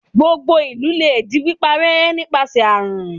Gbogbo ìlú lè di píparẹ́ nípasẹ̀ àrùn.